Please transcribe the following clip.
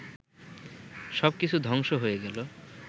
সব কিছু ধ্বংস হয়ে গেল